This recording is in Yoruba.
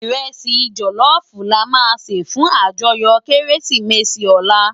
Irèsi jòlòfú làmá sé fún àjòyò Kérésimési òlá